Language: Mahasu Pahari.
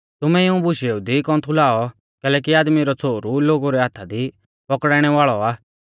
तुमै इऊं बुशेऊ दी कौन्थु लाऔ कैलैकि आदमी रौ छ़ोहरु लोगु रै हाथा दी पौकड़ाइणै वाल़ौ आ